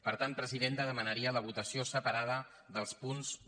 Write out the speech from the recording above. per tant presidenta demanaria la votació separada dels punts un